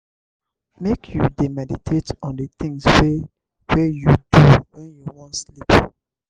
make you dey meditate on di tins wey wey you do wen you wan sleep.